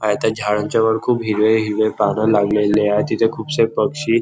आहे त्या झाडांच्या वर खूप हिरवे हिरवे पान लागलेलेय तिथे खूपसे पक्षी --